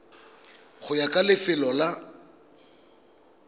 go ya ka lefelo la